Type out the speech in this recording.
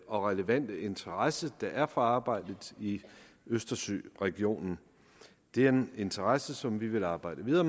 og relevante interesse der er for arbejdet i østersøregionen det er en interesse som vi vil arbejde videre